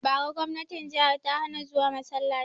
Bara gwamnatin jihar ta hana zuwa masalaci!